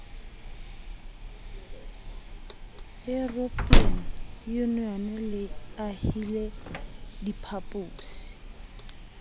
european union le ahile diphaposi